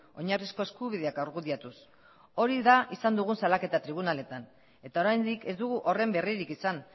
oinarrizko eskubideak argudiatuz hori da izan dugun salaketa tribunaletan eta oraindik ez dugu horren berririk izan